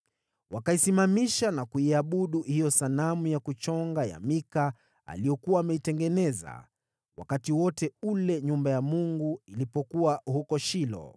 Wakaisimamisha na kuiabudu hiyo sanamu ya kuchonga ya Mika aliyokuwa ameitengeneza, wakati wote ule nyumba ya Mungu ilipokuwa huko Shilo.